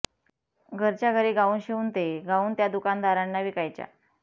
घरच्या घरी गाऊन शिवून ते गाऊन त्या दुकानदारांना विकायच्या